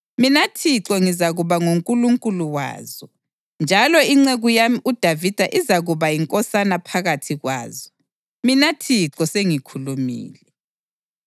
Mina Thixo ngizakuba nguNkulunkulu wazo, njalo inceku yami uDavida izakuba yinkosana phakathi kwazo. Mina Thixo sengikhulumile.